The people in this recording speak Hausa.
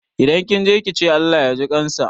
Idan kinje kice Allah yaji ƙansa.